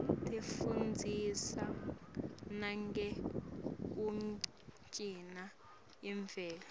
tifundzisa nangekugcina imvelo